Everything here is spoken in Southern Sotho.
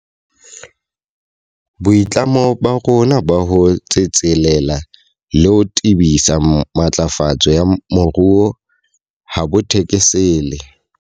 Boitlamo ba rona ba ho tsetselela le ho tebisa matlafatso ya moruo ha bo thekesele.